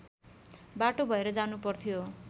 बाटो भएर जानुपर्थ्यो